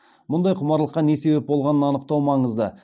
мұндай құмарлыққа не себеп болғанын анықтау маңызды